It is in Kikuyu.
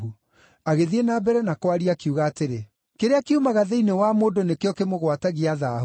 Agĩthiĩ na mbere na kwaria, akiuga atĩrĩ, “Kĩrĩa kiumaga thĩinĩ wa mũndũ nĩkĩo kĩmũgwatagia thaahu.